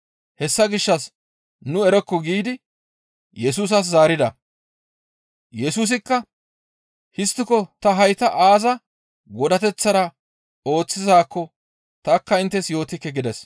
Hessa gishshas, «Nu erokko» giidi Yesusas zaarida. Yesusikka, «Histtiko ta hayta aaza godateththara ooththizaakko tanikka inttes yootikke» gides.